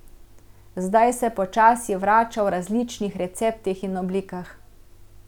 Zdaj se počasi vrača v različnih receptih in oblikah.